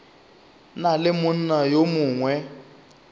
na le monna yo mongwe